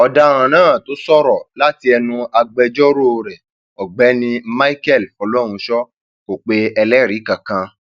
ọdaràn náà tó sọrọ láti ẹnu agbẹjọrò rẹ um ọgbẹni michael fọlọrunsọ kò pe ẹlẹrìí kankan um